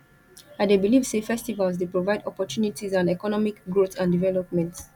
i dey believe say festivals dey provide opportunties and economic growth and development